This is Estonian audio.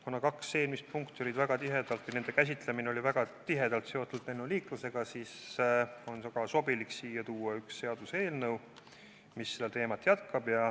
Kuna kaks eelmist punkti ja nende käsitlemine oli väga tihedalt seotud lennuliiklusega, siis on sobilik kõne alla võtta seaduseelnõu, mis seda teemat jätkab.